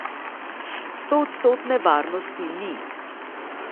Stoodstotne varnosti ni.